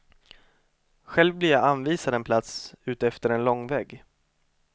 Själv blir jag anvisad en plats utefter en långvägg.